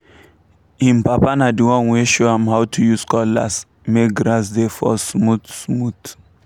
him papa na the one wey show am how to use cutlass make grass dey fall smooth-smooth